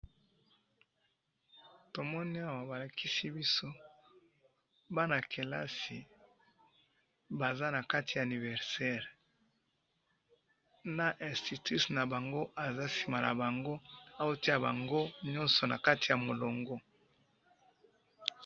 tomoni awa ba lakisi biso bana kelasi, baza na kati ya anniversaire, na instutrice na bango aza sima na bango, azo tia bango nioso na kati ya mulongo